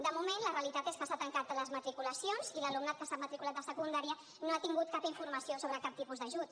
de moment la realitat és que s’han tancat les matriculacions i l’alumnat que s’ha matriculat de secundària no ha tingut cap informació sobre cap tipus d’ajut